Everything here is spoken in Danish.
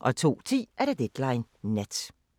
02:10: Deadline Nat